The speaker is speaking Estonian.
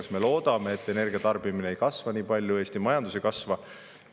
Kas me loodame, et energia tarbimine ei kasva nii palju, Eesti majandus ei kasva?